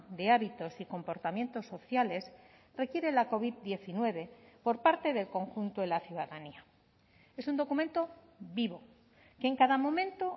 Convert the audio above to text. de hábitos y comportamientos sociales requiere la covid diecinueve por parte del conjunto de la ciudadanía es un documento vivo que en cada momento